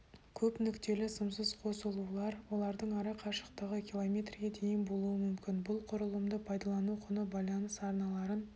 көпнүктелі сымсыз қосылулар олардың ара қашықтығы киломертрге дейін болуы мүмкін бұл құрылымды пайдалану құны байланыс арналарын